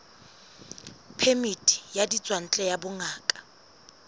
phemiti ya ditswantle ya bongaka